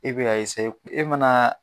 E be ka e manaa